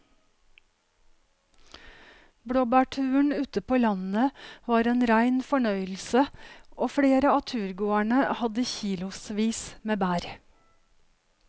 Blåbærturen ute på landet var en rein fornøyelse og flere av turgåerene hadde kilosvis med bær.